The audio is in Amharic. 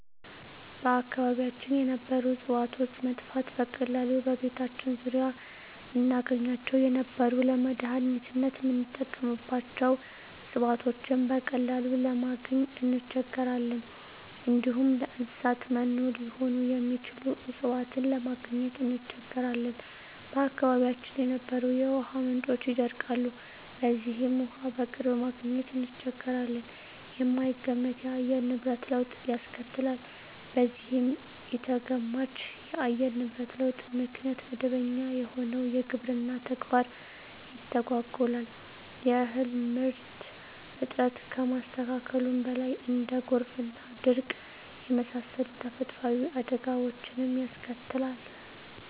በአካባቢያችን የነበሩ እጽዋቶች መጥፋት፤ በቀላሉ በቤታችን ዙሪያ እናገኛቸው የነበሩ ለመዳኒትነት ምንጠቀምባቸው እጽዋቶችን በቀላሉ ለማግኝ እንቸገራለን፣ እንዲሁም ለእንሰሳት መኖ ሊሆኑ የሚችሉ እጽዋትን ለማግኘት እንቸገራለን፣ በአካባቢያችን የነበሩ የውሃ ምንጮች ይደርቃሉ በዚህም ውሃ በቅርብ ማግኘት እንቸገራለን፣ የማይገመት የአየር ንብረት ለውጥ ያስከትላል በዚህም ኢተገማች የአየር ንብረት ለውጥ ምክንያት መደበኛ የሆነው የግብርና ተግባር ይተጓጎላል የእህል ምርት እጥረት ከማስከተሉም በላይ እንደ ጎርፍና ድርቅ የመሳሰሉ ተፈጥሮአዊ አደጋወችንም ያስከትላል።